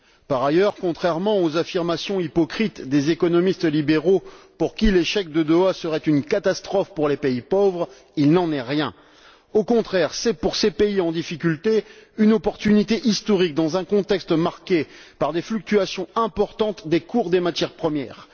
Par ailleurs, contrairement aux affirmations hypocrites des économistes libéraux, pour qui l'échec de Doha serait une catastrophe pour les pays pauvres, il n'en est rien. Au contraire, c'est pour ces pays en difficulté une occasion historique, dans un contexte marqué par des fluctuations importantes des cours des matières premières.